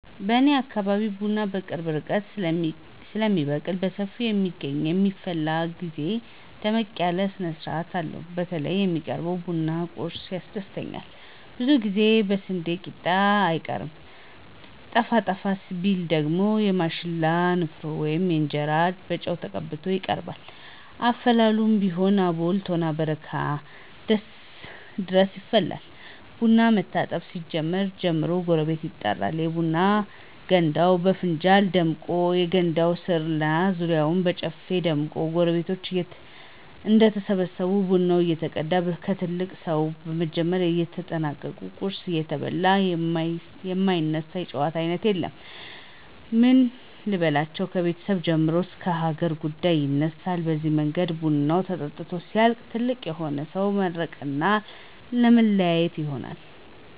በኔ አካባቢ ቡና በቅርብ ርቀት ስለሚበቅልና በሰፊው ስለሚገኝ በሚፈላበት ግዜ ደመቅ ያለ ስነስርአት አለው። በተለይ የሚቀርበው የቡና ቁርሱ ያስደስተኛል ብዙውን ጊዜ የስንዴ ቂጣ አይቀርም። ጠፋ ጠፋ ቢባል ግን የማሽላ ንፍሮ ወይም እንጀራ በጨው ተቀብቶ ይቀርባል። አፈላሉም ቢሆን አቦል፣ ቶና፣ በረካ ድረስ ይፈላል። ቡናው መታጠብ ሲጀምር ጀምሮ ጎረቤቶች ይጠራሉ፤ የቡና ገንዳውም በፍንጃል ደምቆ የገንዳው ስር እና ዙሪያው በጨፌ ይደምቃል። ጎረቤቶች እንደተሰበሰቡ ቡናው እየተቀዳ ከትልቅ ሰው በመጀመር እየተሰጠና ቁርሱ እየተበላ የማይነሳ የጨዋታ አይነት የለም። ምን ልበላችሁ ከቤተሰብ ጀምሮ እስከ ሀገር ጉዳይ ይነሳል በዚህ መንገድ ቡናው ተጠጥቶ ሲያልቅ ትልቅ የሆነ ሰው ይመርቅና መለያየት ይሆናል።